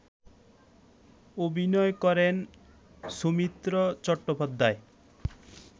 অভিনয় করেন সৌমিত্র চট্টোপাধ্যায়